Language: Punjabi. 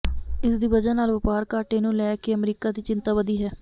ਇਸ ਦੀ ਵਜ੍ਹਾ ਨਾਲ ਵਪਾਰ ਘਾਟੇ ਨੂੰ ਲੈ ਕੇ ਅਮਰੀਕਾ ਦੀ ਚਿੰਤਾ ਵਧੀ ਹੈ